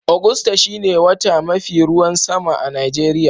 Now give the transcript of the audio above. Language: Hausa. Agusta shine wota mai mafi ruwan sama a'Nijeriya.